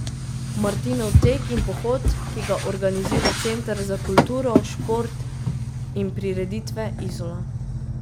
Martinov tek in pohod, ki ga organizira Center za kulturo, šport in prireditve Izola.